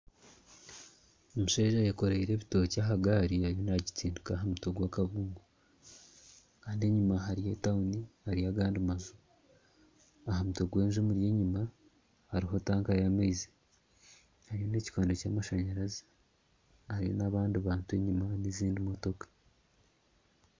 Omusheija ayekorire ebitokye aha gari ariyo nagistindika aha mutwe gw'akabungo Kandi enyima hariyo etawuni, hariyo nagandi maju. Aha mutwe gw'enju emuri enyima hariho tanka ya maizi, hariho n'ekikondo kyamashanyarazi hariyo nabandi abantu enyima nezindi motoka.